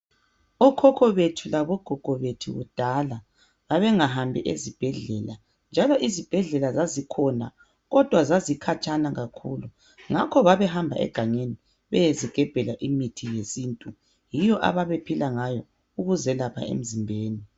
Okhokho bethi labogogo bethu kudala babengahambi ezibhedlela, njalo izibhedlela zazikhona kodwa zazikhatshana kakhulu, ngakho babehamba egangeni beyezigebhela imithi yesintu. Yiyo ababephila ngayo ukuzelapha emzimbeni.